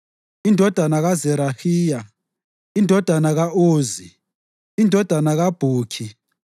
indodana kaZerahiya, indodana ka-Uzi, indodana kaBhukhi,